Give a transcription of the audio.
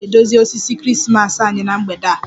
Anyị ga-edozi osisi Krismas anyị na mgbede a